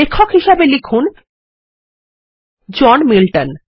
লেখক হিসাবে লিখুনজন মিল্টন